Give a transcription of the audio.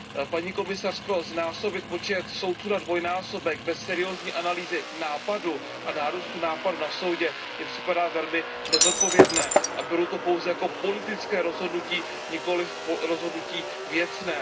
Paní komisařko, znásobit počet soudců na dvojnásobek bez seriózní analýzy náporu a nárůstu náporu na Tribunál mi připadá velmi nezodpovědné a beru to pouze jako politické rozhodnutí, nikoliv rozhodnutí věcné.